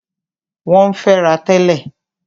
Wọ́n ń fẹ́ra tẹ́lẹ̀.